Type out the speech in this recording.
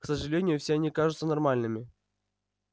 к сожалению все они кажутся нормальными